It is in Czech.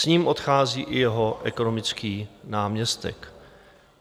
S ním odchází i jeho ekonomický náměstek.